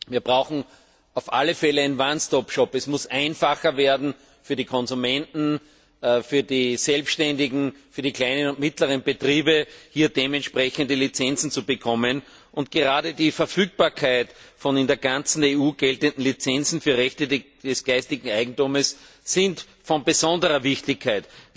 Wir brauchen auf alle Fälle einen Es muss einfacher werden für die Konsumenten, für die Selbständigen, für die kleinen und mittleren Betriebe, hier dementsprechende Lizenzen zu bekommen. Gerade die Verfügbarkeit von in der ganzen EU geltenden Lizenzen für Rechte des geistigen Eigentums ist von besonderer Wichtigkeit.